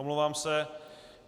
Omlouvám se.